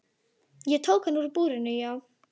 Ég tók hann úr búrinu, já.